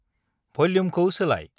भल्युमखौ सोलाय।